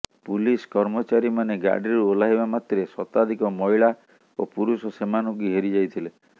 police କର୍ମଚାରୀମାନେ ଗାଡ଼ିରୁ ଓହ୍ଲାଇବା ମାତ୍ରେ ଶତାଧିକ ମହିଳା ଓ ପୁରୁଷ ସେମାନଙ୍କୁ ଘେରି ଯାଇଥିଲେ